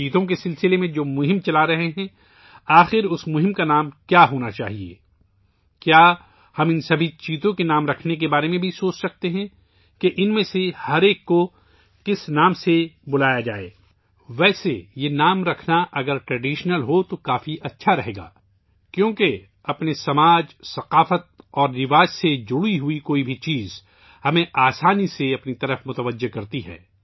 چیتوں کے لئے ، جو مہم چلا رہے ہیں ، آخر اس مہم کا کیا نام ہونا چاہیئے! کیا ہم ان تمام چیتوں کے نام رکھنے کے بارے میں بھی سوچ سکتے ہیں کہ ان میں سے ہر ایک کو کس نام سے پکارا جائے! ویسے اگر یہ نام روایتی ہو تو کافی اچھا رہے گا کیونکہ ہمارے معاشرے اور ثقافت، روایت اور ورثے سے جڑی کوئی بھی چیز ہمیں فطری طور پر اپنی طرف کھینچتی ہے